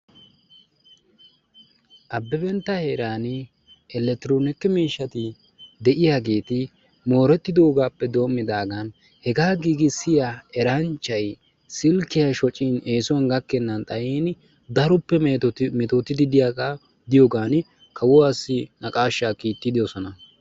Abebentta heeran Elektronkie miishshati de'iyaageeti mooretidoogappe doommidaagan hega giigissiya eranchchay sillkiya shoccin eessuwan gakkenan xayyin daroppe mettotidi de'iyooga kawuwassi naqqashsha kiittidoosona.